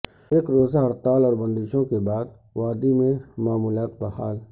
ایک روزہ ہڑتال اور بندشوں کے بعد وادی میںمعمولات بحال